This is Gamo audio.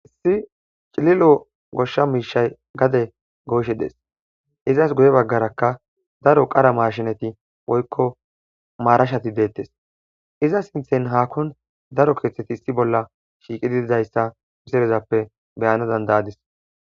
issi cililo goshsha miishay gade goyshe dees izas guye baggarakka daro qara marshinati woykko maarashati deettes iza sinthen haakon daro keeththeti issi bolla shiiqidididayssa misilezappe beyana dandayadis